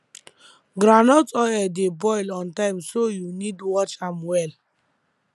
groundnut oil dey boil on time so u need watch am well